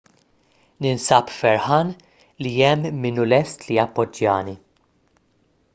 ninsab ferħan li hemm min hu lest li jappoġġjani